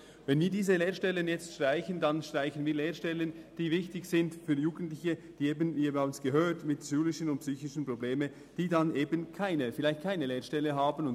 Wenn wir diese jetzt streichen, dann streichen wir Lehrstellen, die wichtig sind für Jugendliche, die schulische und psychische Probleme mitbringen und die vielleicht keine andere Lehrstelle fänden.